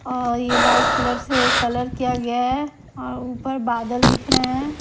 और ये white colour से कलर किया गया है और ऊपर बादल दिख रहे हैं ।